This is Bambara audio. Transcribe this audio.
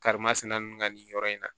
Karimasina ninnu ka nin yɔrɔ in na